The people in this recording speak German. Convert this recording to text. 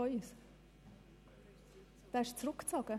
Diesen haben wir zurückgezogen.